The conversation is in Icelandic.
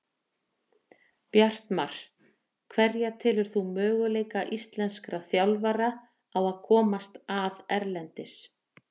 Bjartmar Hverja telur þú möguleika íslenskra þjálfara á að komast að erlendis?